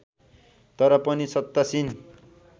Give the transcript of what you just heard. तर पनि सत्तासीन